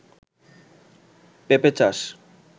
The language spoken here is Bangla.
পেপে চাষ